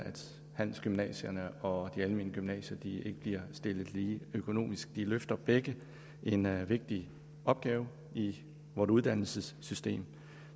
handelsgymnasierne og de almene gymnasier ikke bliver stillet lige økonomisk de løfter begge en vigtig opgave i vort uddannelsessystem